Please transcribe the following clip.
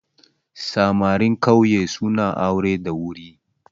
Samarin ƙauye suna aure da wuri